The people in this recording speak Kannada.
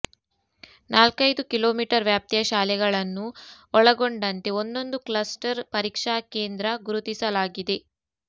ನಾಲ್ಕೈದು ಕಿಲೋ ಮೀಟರ್ ವ್ಯಾಪ್ತಿಯ ಶಾಲೆಗಳನ್ನು ಒಳಗೊಂಡಂತೆ ಒಂದೊಂದು ಕ್ಲಸ್ಟರ್ ಪರೀಕ್ಷಾ ಕೇಂದ್ರ ಗುರುತಿಸಲಾಗಿದೆ